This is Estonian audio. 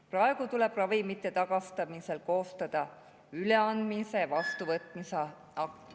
Praegu tuleb ravimite tagastamisel koostada üleandmise-vastuvõtmise akt.